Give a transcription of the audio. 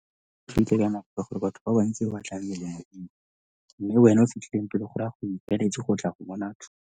ka gore batho ka bantsi ba tlabe mme wena o fitlhileng pele go raya gore o ikaeletse go tla go bona.